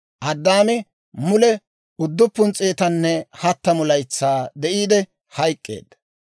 Addaami mule 930 laytsaa de'iide hayk'k'eedda.